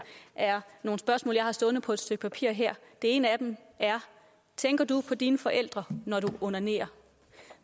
har jeg stående på et stykke papir her det ene er tænker du på dine forældre når du onanerer